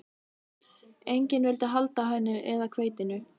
Enginn vildi halda á henni eða hveitinu.